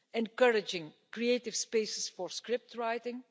encouraging creative spaces for script writing